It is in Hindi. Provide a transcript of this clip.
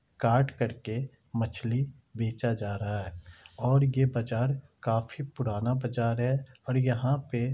काट करके मछली बेचा जा रहा है और ये बाजार काफी पुराना बाजार है और यहाँ पे--